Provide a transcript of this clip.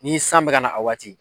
N'i san bi ka na a waati